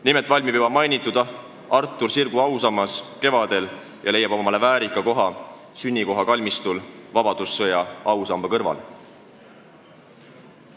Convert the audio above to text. Nimelt valmib kevadel Artur Sirgu ausammas, mis leiab omale väärika koha tema sünnikoha kalmistul vabadussõja ausamba kõrval.